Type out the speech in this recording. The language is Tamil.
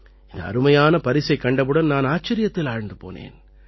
இந்த அருமையான பரிசைக் கண்டவுடன் நான் ஆச்சரியத்தில் ஆழ்ந்து போனேன்